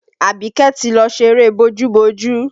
Abike ti lọ ṣeré bójú-bójú